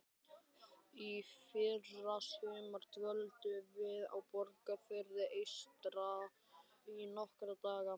Í fyrrasumar dvöldum við á Borgarfirði eystra í nokkra daga.